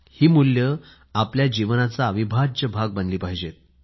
ही मुल्ये आपल्या जीवनाचा अविभाज्य भाग बनली पाहिजेत